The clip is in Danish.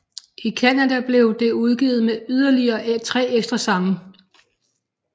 I Canadablev det udgivet med yderligere tre ekstra sange